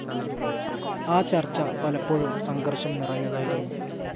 ആ ചർച്ച പലപ്പോഴും സംഘർഷം നിറഞ്ഞതായിരുന്നു.